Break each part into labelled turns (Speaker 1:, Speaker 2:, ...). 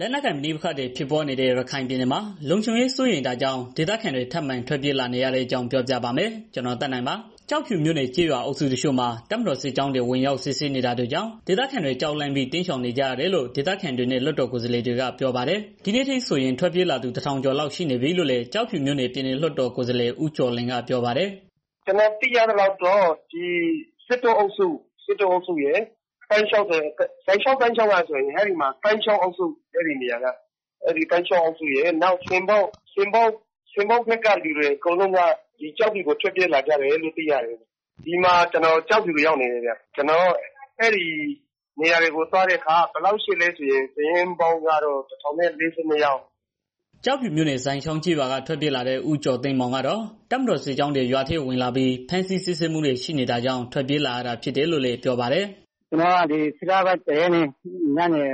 Speaker 1: လက်နက်ကိုင် ပဋိပက္ခတွေ ဖြစ်ပွားနေတဲ့ ရခိုင်ပြည်နယ်မှာ လုံခြုံရေးစိုးရိမ်တာကြောင့် ဒေသခံတွေ ထပ်မံထွက်ပြေးလာနေတဲ့အကြောင်း ပြောပြပါမယ်။ ဗွီအိုအေမြန်မာပိုင်းသတင်းထောက် ကိုသက်နိုင်က ရခိုင်ပြည်နယ်ကနေ သတင်းပေးပို့ထားပါတယ်။ ကျောက်ဖြူမြို့နယ် ကျေးရွာအုပ်စုတချို့မှာ တပ်မတော်စစ်ကြောင်းတွေ ဝင်ရောက် စစ်ဆေးနေတာတွေကြောင့် ဒေသခံတွေ ကြောက်လန့်ပြီး တိမ်းရှောင်နေကြရတယ်လို့ ဒေသခံတွေနဲ့ လွှတ်တော် ကိုယ်စားလှယ်တွေက ပြောပါတယ်။ ဒီနေ့အထိဆိုရင် ထွက်ပြေးလာသူ ၁,၀၀၀ ကျော်လောက် ရှိနေပြီလို့လည်း ကျောက်ဖြူမြို့နယ် ပြည်နယ်လွှတ်တော်ကိုယ်စားလှယ် ဦးကျော်လွင်က ပြောပါတယ်
Speaker 2: ။ "ကျနော်သိရသလောက်ကတော့ စစ်တောအုပ်စု သိုင်းချောင်းအုပ်စု ဆင်ပုတ်အုပ်စု တို့က လူတွေ အကုန်လုံးဟာ ကျောက်ဖြူကို ထွက်ပြေးလာကြတယ်။ ကျနော်အခု ကျောက်ဖြူကို ရောက်နေပါတယ်ခင်ဗျ။ အဲဒီစစ်ရှောင်စခန်းတွေကို သွားကြည့်တဲ့ အခါကျတော့ လူဦးရေ စုစုပေါင်းကတော့ ၁,၀၄၂ ယောက်ရှိပါတယ်။
Speaker 1: " ကျောက်ဖြူမြို့နယ် ဇိုင်ချောင်းကျေးရွာက ထွက်ပြေးလာတဲ့ ဦးကျော်သိန်းမောင်ကတော တပ်မတော်စစ်ကြောင်းတွေ ရွာထဲဝင်လာပြီး ဖမ်းဆီးစစ်ဆေးမှုတွေ ရှိနေတာကြောင့် ထွက်ပြေးလာရတာဖြစ်တယ်လို့ ပြောပါတယ်။ "
Speaker 3: ကျနော်တို့က ၁၁ လပိုင်း ၁ ရက်နေ့ ညနေ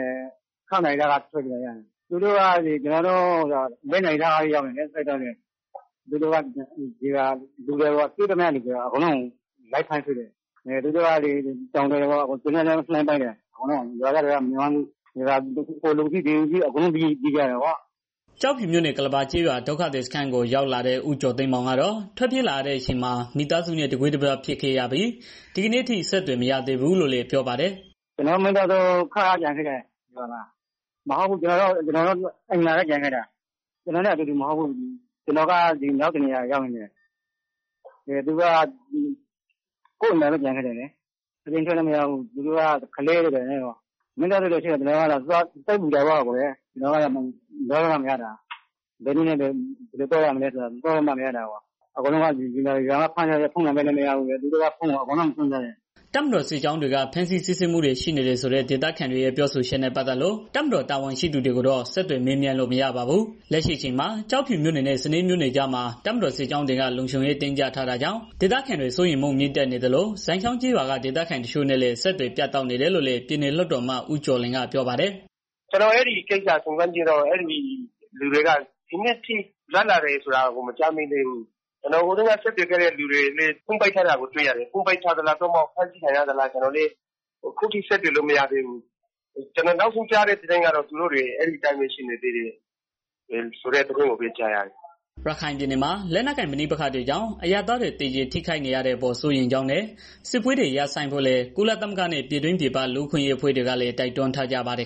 Speaker 3: ၆ နာရီလောက်က ထွက်ပြေးလာကြတာ။ စစ်သားတွေက ကျနော်တို့ ရွာကို လေးနာရီလောက်ကတည်း ရောက်နေတာ။ ပြီးတော့ သူတို့က တွေ့သမျှလူအကုန်လုံးကို လိုက်ဖမ်းတယ်။ တောင်တွေကိုလည်း သေနတ်နဲ့ ပစ်တယ်။ အဲဒီတော့ ရွာသားတွေကလည်း မနေရဲတော့ ဟိုပြေး၊ ဒီပြေးနဲ့ အကုန်လုံးပြေးကြရတယ်။"
Speaker 1: ကျောက်ဖြူမြို့နယ် ကုလဘာကျေးရွာ ဒုက္ခသည်စခန်းကို ရောက်လာတဲ့ ဦးကျော်သိန်းမောင်ကတော့ ထွက်ပြေးလာရတဲ့ အချိန်မှာ မိသားစုနဲ့ တကွဲတပြား ဖြစ်ခဲ့ရပြီး ဒီကနေ့အထိ အဆက်အသွယ် မရသေးဘူးလို့လည်း ပြောပါတယ်။
Speaker 3: "ကျနော့်မှာ မိသားစု ခြောက်ယောက်ကျန်ခဲ့တယ်။ အိမ်မှာ ကျနော်နဲ့ အတူတူ ပါမလာဘူး။ ပြေးလာတုန်းက ကျနော်က နောက်တစ်နေရာရောက်နေတာ သူတို့က ကိုယ့်အိမ်မှာပဲ ကျန်ခဲ့တာ။ ပြေးလို့လည်း မရဘူး။ သူတို့က ကလေးတွေ၊ ဘာတွေနဲ့ ဆိုတော့လေ။ မိသားတွေ ကျန်ခဲ့တော့ စိတ်ပူတာပေါ့ဗျာ။ ကျနော်က သွားလို့မှ မရတာ ဘယ်နည်းနဲ့ ဘယ်လို သွားရမလဲဆိုတာကိုလည်း မသိဘူး။ ဖုန်းဆက်လို့လည်း မရဘူး။ သူတို့က ဖုန်းတွေအကုန်လုံးကို သိမ်းထားတာလေ။"
Speaker 1: တပ်မတော်စစ်ကြောင်းတွေက ဖမ်းဆီးစစ်ဆေးမှုတွေ ရှိနေတယ်ဆိုတဲ့ ဒေသခံတွေရဲ့ ပြောဆိုချက်နဲ့ ပတ်သက်လို့ တပ်မတော် တာဝန်ရှိသူကိုတော့ ဆက်သွယ်မေးမြန်းလို့ မရပါဘူး။ လက်ရှိအချိန်မှာ ကျောက်ဖြူမြို့နယ်နဲ့ စနဲမြို့နယ်ကြားမှာ တပ်မတော်စစ်ကြောင်းတွေက လုံခြုံရေး တင်းကြပ်ထားတာကြောင့် ဒေသခံတွေ စိုးရိမ်မှု မြင့်တက်နေသလို ဇိုင်ချောင်းကျေးရွာက ဒေသခံတချို့နဲ့လည်း အဆက်အသွယ်ပြတ်တောက်နေတယ်လို့ ပြည်နယ်လွှတ်တော်အမတ် ဦးကျော်လွင်ကပြောပါတယ်။
Speaker 2: "ကျနော်အဲဒီ့ကိစ္စကို စုံစမ်းကြည့်တော့ အဲဒီလူတွေက ဒီနေ့အထိ လွတ်လာတယ်ဆိုတာ မရှိသေးဘူး။ ကျနော်အရင်က ဆက်သွယ်ကြည့်တဲ့ သူတွေလည်း ဖုန်းပိတ်ထားတာကို တွေ့ရတယ်။ ဖုန်းပိတ်ထားတာလား၊ ဖမ်းဆီးခံရတာလား၊ အခုထိ ဆက်သွယ်လို့ မရသေးဘူး။ ကျနော်နောက်ဆုံးကြားရတာကတော့ အဲဒီလူတွေ အဲဒီအတိုင်းပဲ ရှိနေသေးတယ်ဆိုတဲ့ သတင်းပဲကြားရတယ်။
Speaker 1: " ရခိုင်ပြည်နယ်မှာ လက်နက်ကိုင် ပဋိပက္ခတွေကြောင့် အရပ်သားတွေ သေကြေထိခိုက်နေရတဲ့အပေါ် စိုးရိမ်ကြောင်းနဲ့ စစ်ပွဲတွေ ရပ်ဆိုင်းဖို့လည်း ကုလသမဂ္ဂနဲ့ ပြည်တွင်းပြည်ပက လူ့အခွင့်အရေး အဖွဲ့တွေကလည်း တိုက်တွန်းထားကြပါတယ်